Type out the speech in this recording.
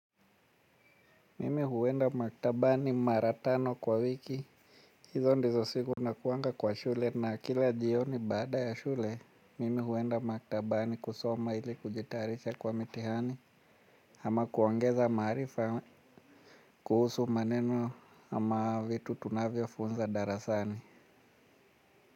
Mimi huenda maktabani mara tano kwa wiki. Hizo ndizo siku nakuanga kwa shule na kila jioni bada ya shule. Mimi huenda maktabani kusoma ili kujitayarisha kwa mitihani. Ama kuongeza maarifa kuhusu maneno ama vitu tunavyofunza darasani.